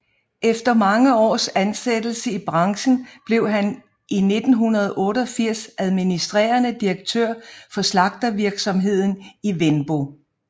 Efter mange års ansættelse i branchen blev han i 1988 administrerende direktør for slagterivirksomheden Wenbo